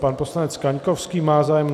Pan poslanec Kaňkovský má zájem?